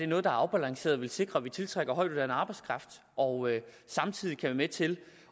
noget der er afbalanceret vil sikre at vi tiltrækker højtuddannet arbejdskraft og samtidig kan være med til